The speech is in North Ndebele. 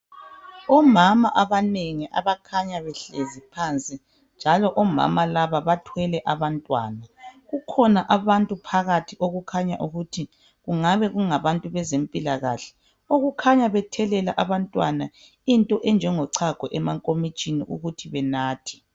Omama abanengi abakhanya behlezi phansi njalo omama laba bathwele abantwana. Kukhona abantu phakathi okukhanya ukuthi kungabe kungabantu bezempilakahle okukhanya bethelela abantwana into enjengo chago emankomotshini ukuthi benathe.